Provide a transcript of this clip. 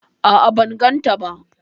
A'a ban gan ta ba